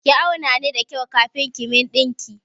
Ki auna ni da kyau kafin ki min ɗinki!